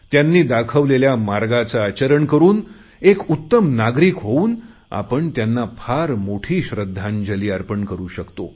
त्यांनी दाखवलेल्या मार्गाचे आचरण करुन एक उत्तम नागरिक होऊन आपण त्यांना फार मोठी श्रद्धांजली अर्पण करु शकतो